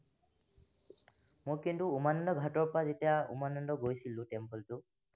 মই কিন্তু উমানন্দ ঘাটৰ পৰা যেতিয়া উমানন্দ গৈছিলো temple টোত